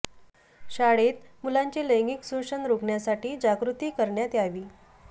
शाळेत मुलांचे लैंगिक शोषण रोखण्यासाठी जागृती करण्यात यावी